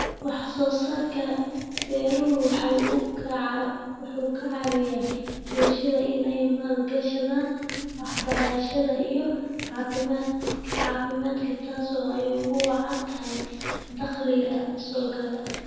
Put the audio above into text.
Wax soo saarka beeruhu waxa uu ka caawiyaa bulshada in ay maal gashadaan waxbarashada iyo caafimaadka taas oo ay ugu wacan tahay dakhliga soo gala.